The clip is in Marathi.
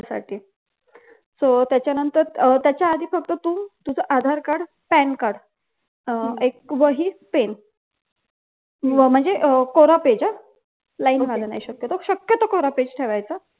साठी so त्याच्यानंतर त्याच्या आधी फक्त तू तुझा आधार कार्ड पॅन कार्ड अह एक वही पेन म्हणजे कोर page हा line वाल नाय शक्यतो शक्यतो कोर page ठेवायचा